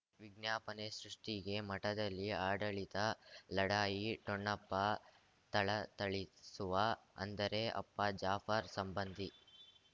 ವಿಜ್ಞಾಪನೆ ಸೃಷ್ಟಿಗೆ ಮಠದಲ್ಲಿ ಆಡಳಿತ ಲಢಾಯಿ ಠೊಣಪ ಥಳಥಳಿಸುವ ಅಂದರೆ ಅಪ್ಪ ಜಾಫರ್ ಸಂಬಂಧಿ